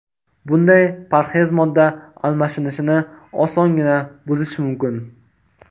Bunday parhez modda almashinishini osongina buzishi mumkin.